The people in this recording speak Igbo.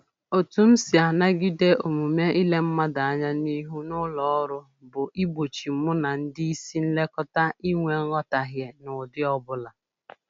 Otu m si anagide omume ile mmadụ anya n'ihu n'ụlọ ọrụ bụ igbochi mụ na ndị isi nlekọta inwe nghọtahie n'ụdị ọbụla